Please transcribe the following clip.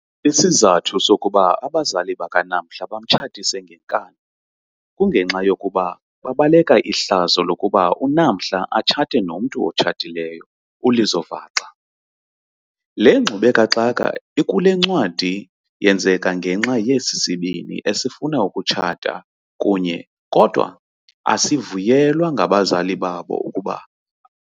Isizathu sokuba abazali baka Namhla bamtshatise ngenkani kungenxa yokuba babebaleka ihlazo lokuba uNamhla atshate nomntu otshatileyo, uLizo vaxa. Le ngxube kaxaka ikulencwadi yenzeka ngenxa yesi sibini esifuna ukutshata kunye kodwa asivunyelwa ngabazali babo ukuba mabatshate.